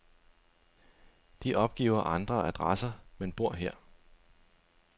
De opgiver andre adresser, men bor her.